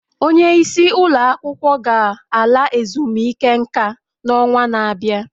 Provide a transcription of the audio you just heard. Onye isi ụlọ akwụkwọ ga-ala ezumike nka n'ọnwa na-abịa